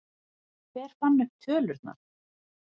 Hver fann upp tölurnar?